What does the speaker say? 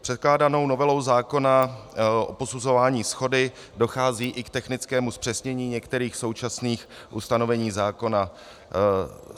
Předkládanou novelou zákona o posuzování shody dochází i k technickému zpřesnění některých současných ustanovení zákona.